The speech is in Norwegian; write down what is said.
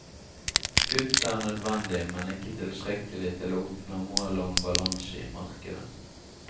Kutt er nødvendig, men ikke tilstrekkelig til å oppnå målet om balanse i markedet.